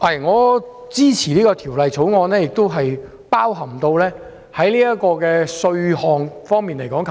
我支持三讀《條例草案》，當中包含稅項方面的修訂。